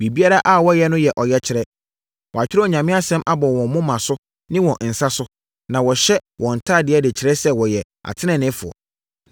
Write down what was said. “Biribiara a wɔyɛ no yɛ ɔyɛkyerɛ. Wɔatwerɛ Onyame Asɛm abɔ wɔn moma ne wɔn nsa so, na wɔhyɛ wɔn ntadeɛ de kyerɛ sɛ wɔyɛ ateneneefoɔ.